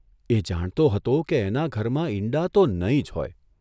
એ જાણતો હતો કે એના ઘરમાં ઈંડા તો નહીં જ હોય.